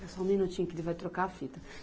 Só um minutinho que ele vai trocar a fita.